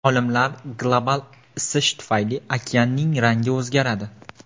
Olimlar: global isish tufayli okeanning rangi o‘zgaradi.